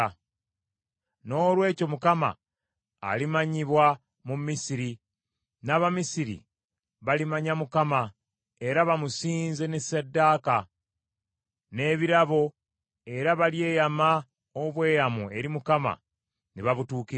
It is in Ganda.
Noolwekyo Mukama alimanyibwa mu Misiri, n’Abamisiri balimanya Mukama era bamusinze ne ssaddaaka, n’ebirabo era balyeyama obweyamo eri Mukama ne babutuukiriza.